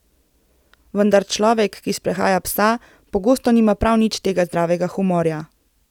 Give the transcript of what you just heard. Vendar človek, ki sprehaja psa, pogosto nima prav nič tega zdravega humorja.